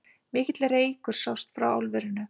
Mikill reykur sást frá álverinu